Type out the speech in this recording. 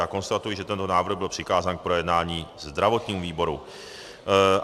Já konstatuji, že tento návrh byl přikázán k projednání zdravotnímu výboru.